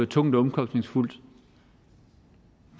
tungt og omkostningsfuldt